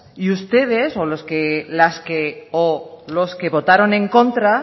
y ustedes o las y los que votaron en contra